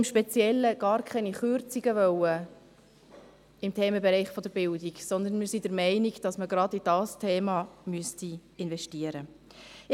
Im Speziellen wollten wir gar keine Kürzungen im Themenbereich der Bildung, sondern wir sind der Meinung, dass man gerade in dieses Thema investieren müsste.